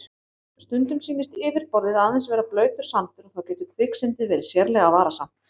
Stundum sýnist yfirborðið aðeins vera blautur sandur og þá getur kviksyndið verið sérlega varasamt.